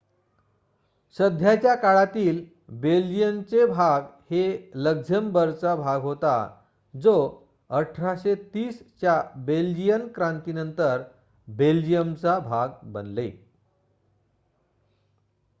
सध्याच्या काळातील बेल्जियनचे भाग हे लक्झेम्बर्गचा भाग होता जो 1830 च्या बेल्जियन क्रांतीनंतर बेल्जियमचा भाग बनले